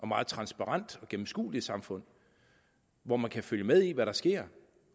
meget transparent og gennemskueligt samfund hvor man kan følge med i hvad der sker